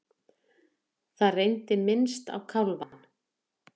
Það reyndi minnst á kálfann.